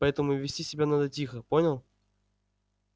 поэтому вести себя надо тихо понял